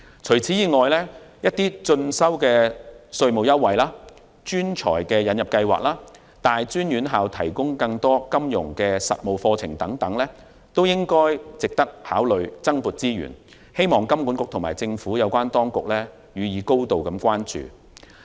此外，鼓勵進修的稅務優惠、專才引入計劃及大專院校提供更多金融實務課程等措施也值得考慮增撥資源，希望金管局及政府有關當局予以高度關注。